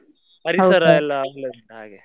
ಎಲ್ಲ ಒಳ್ಳೆ ಉಂಟು ಹಾಗೆ.